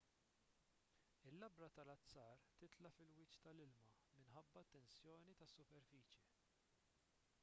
il-labra tal-azzar titla' fil-wiċċ tal-ilma minħabba t-tensjoni tas-superfiċje